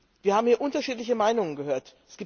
Wir haben hier unterschiedliche Meinungen gehört.